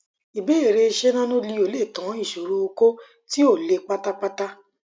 ìbéèrè ṣé nanoleo lè tán ìsòro okó tí ò le pátápátá